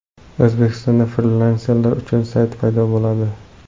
O‘zbekistonda frilanserlar uchun sayt paydo bo‘ladi.